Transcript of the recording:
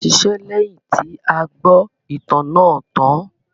A ṣiṣẹ́ lẹ́yìn tí a gbọ́ ìtàn náà tàn án.